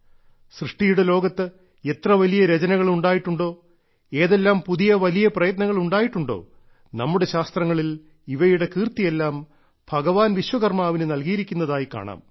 സൃഷ്ടിയുടെ ലോകത്ത് എത്ര വലിയ രചനകൾ ഉണ്ടായിട്ടുണ്ടോ ഏതെല്ലാം പുതിയ വലിയ പ്രയത്നങ്ങൾ ഉണ്ടായിട്ടുണ്ടോ നമ്മുടെ ശാസ്ത്രങ്ങളിൽ ഇവയുടെ കീർത്തിയെല്ലാം ഭഗവാൻ വിശ്വകർമാവിന് നൽകിയിരിക്കുന്നതായി കാണാം